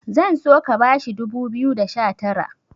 zan so ka bashi dubu biyu da sha Tara